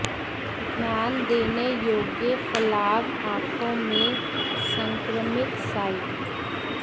ध्यान देने योग्य फलाव आंखों में संक्रमित साइट